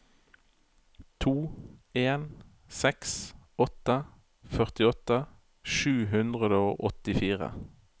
to en seks åtte førtiåtte sju hundre og åttifire